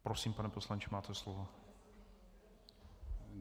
Prosím, pane poslanče, máte slovo.